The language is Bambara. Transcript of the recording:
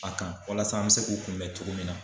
A kan walasa an mɛ se k'u kunbɛn cogo min na.